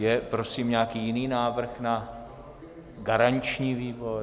Je prosím nějaký jiný návrh na garanční výbor?